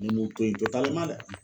Ne m'o to yen dɛ.